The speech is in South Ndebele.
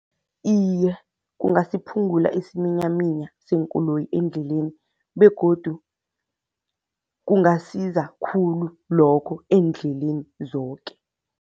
Iye, kungasiphungula isiminyaminya seenkoloyi endleleni begodu kungasiza khulu lokho eendleleni zoke.